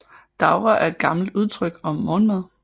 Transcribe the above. Davre er et gammelt udtryk om morgenmad